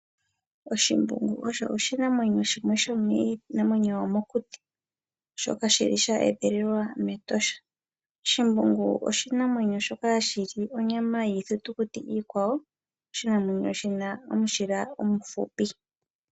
Oshimbungu osho oshinamwenyo shomiinamwenyo yomokuti shoka shili sheedhililwa mEtosha. Oshimbungu oshinamwenyo shoka hashi li onyama yiithitukuti iikwawo. Oshinamwenyo shina omushila omuhupi.